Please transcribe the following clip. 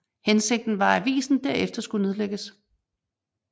Hensigten var at avisen herefter skulle nedlægges